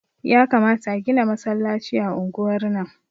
Yakamata a gina masallaci a unguwar nan